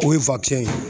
O ye ye